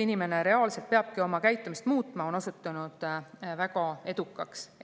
inimene reaalselt peabki oma käitumist muutma –, on osutunud väga edukaks.